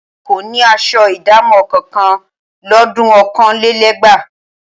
Àwọn olè kò ní aṣọ ìdámọ̀ kankan lọ́dun ọ̀kanlélẹ́gbàá